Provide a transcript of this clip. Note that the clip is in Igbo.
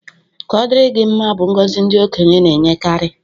Ka ọ dịrị gị mma bụ ngọzi ndị okenye na-enyekarị